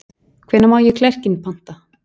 Hvenær má ég klerkinn panta?